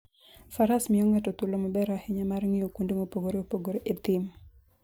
Faras miyo ng'ato thuolo maber ahinya mar ng'iyo kuonde mopogore opogore e thim.